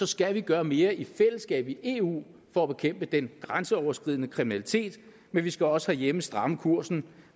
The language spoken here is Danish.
skal vi gøre mere i fællesskab i eu for at bekæmpe den grænseoverskridende kriminalitet men vi skal også herhjemme stramme kursen